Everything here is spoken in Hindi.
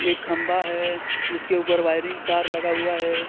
एक खंभा है जिसके ऊपर वायरिंग तार लगा हुआ है.